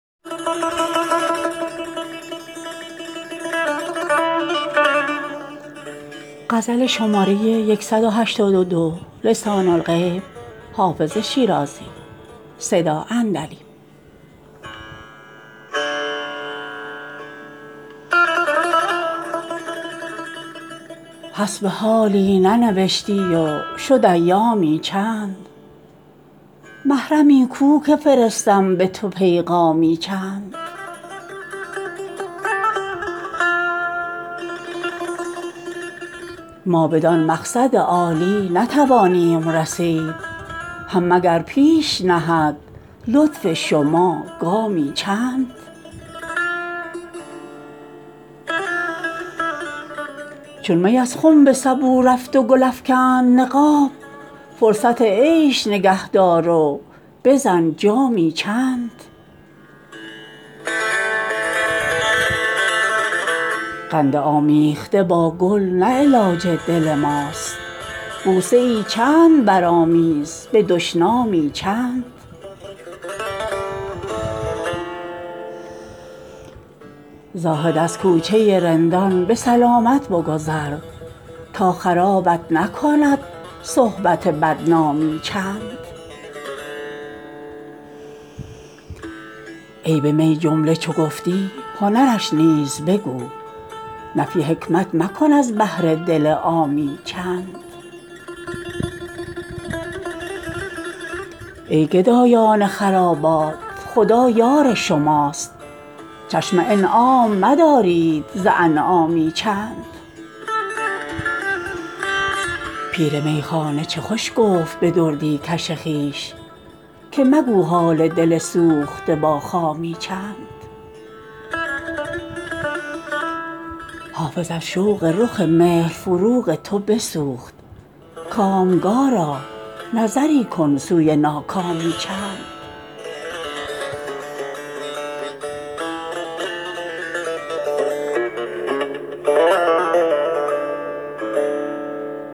حسب حالی ننوشتی و شد ایامی چند محرمی کو که فرستم به تو پیغامی چند ما بدان مقصد عالی نتوانیم رسید هم مگر پیش نهد لطف شما گامی چند چون می از خم به سبو رفت و گل افکند نقاب فرصت عیش نگه دار و بزن جامی چند قند آمیخته با گل نه علاج دل ماست بوسه ای چند برآمیز به دشنامی چند زاهد از کوچه رندان به سلامت بگذر تا خرابت نکند صحبت بدنامی چند عیب می جمله چو گفتی هنرش نیز بگو نفی حکمت مکن از بهر دل عامی چند ای گدایان خرابات خدا یار شماست چشم انعام مدارید ز انعامی چند پیر میخانه چه خوش گفت به دردی کش خویش که مگو حال دل سوخته با خامی چند حافظ از شوق رخ مهر فروغ تو بسوخت کامگارا نظری کن سوی ناکامی چند